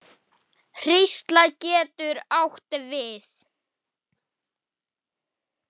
Hrísla getur átt við